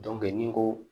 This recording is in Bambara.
ni n ko